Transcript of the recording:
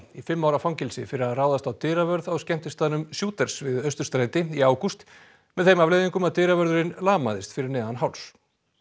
í fimm ára fangelsi fyrir að ráðast á dyravörð á skemmtistaðnum Shooters við Austurstræti í ágúst með þeim afleiðingum að dyravörðurinn lamaðist fyrir neðan háls